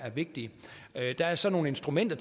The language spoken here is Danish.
vigtige der er så nogle instrumenter